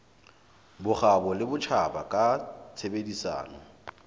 bokgabo le botjhaba ka tshebedisano